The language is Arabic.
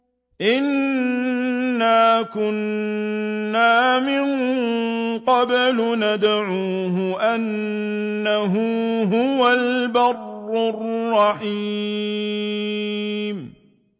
إِنَّا كُنَّا مِن قَبْلُ نَدْعُوهُ ۖ إِنَّهُ هُوَ الْبَرُّ الرَّحِيمُ